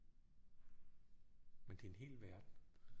Men det er en hel verden